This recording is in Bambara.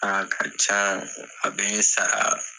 A ka ca a be n sara